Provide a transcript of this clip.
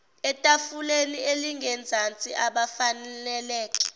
etafuleni elingezansi abafaneleke